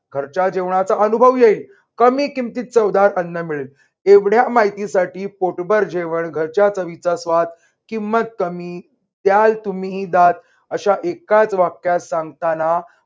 घरच्या जेवणाचा अनुभव येईल, कमी किमतीत चवदार अन्न मिळेल. एवढ्या माहितीसाठी पोटभर जेवण घरच्या चवीचा आस्वाद किमत कमी द्याल तुम्ही दाद अशा एकाच वाक्यात सांगताना